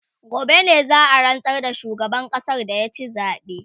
gobe ne za'a rantsar da shugaban ƙasan da ya ci zabe